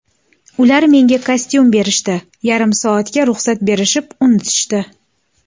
Ular menga kostyum berishdi, yarim soatga ruxsat berishib, unutishdi.